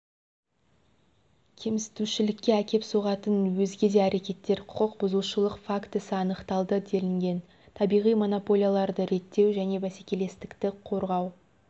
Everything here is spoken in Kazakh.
кемсітушілікке әкеп соғатын өзге де әрекеттер құқық бұзушылық фактісі анықталды делінген табиғи монополияларды реттеу және бәсекелестікті қорғау